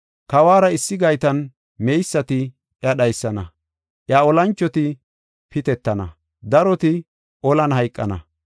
Kawuwara issi gaytan meysati iya dhaysana; iya olanchoti pitetana; daroti olan hayqana.